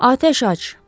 Atəş aç!